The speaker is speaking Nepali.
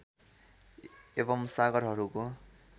एवम् सागरहरूको